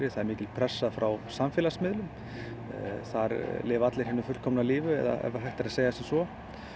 það er mikil pressa frá samfélagsmiðlum þar lifa allir hinu fullkomna lífi ef hægt er að segja sem svo